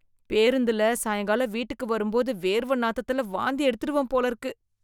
பேருந்துல சாயங்காலம் வீட்டுக்கு வரும்போது வேர்வ நாதத்தில வாந்தி எடுத்துடுவேன் போல இருக்கு